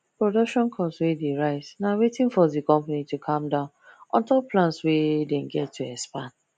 production cost wey dey rise na wetin force the company to calm down untop plans wey them get to expand